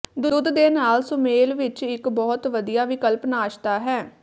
ਦੁੱਧ ਦੇ ਨਾਲ ਸੁਮੇਲ ਵਿੱਚ ਇੱਕ ਬਹੁਤ ਵਧੀਆ ਵਿਕਲਪ ਨਾਸ਼ਤਾ ਹੈ